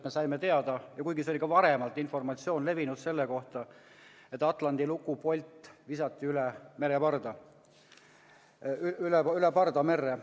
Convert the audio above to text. Me saime teada – kuigi see informatsioon oli ka varem levinud –, et atlandi luku polt visati üle parda merre.